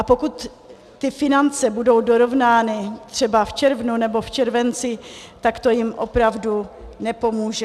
A pokud ty finance budou dorovnány třeba v červnu nebo v červenci, tak to jim opravdu nepomůže.